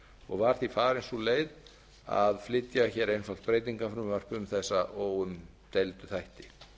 og var því farin sú leið að flytja einfalt breytingafrumvarp um þessa óumdeildu þætti